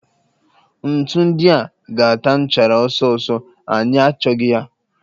Ntu ndia ga-ata nchara ọsọ ọsọ, anyị achọghị ha